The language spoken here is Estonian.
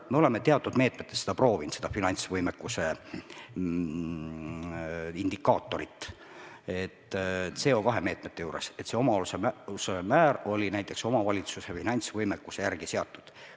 Me oleme teatud meetmetes seda finantsvõimekuse indikaatorit proovinud – CO2 meetmete juures –, et see osaluse määr oli näiteks omavalitsuse finantsvõimekuse järgi seatud.